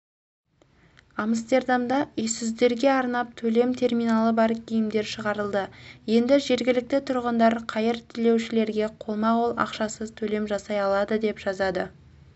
амстердамда үйсіздерге арнап төлем терминалы бар киімдер шығарылды енді жергілікті тұрғындар қайыр тілеушілерге қолма-қол ақшасыз төлем жасай алады деп жазады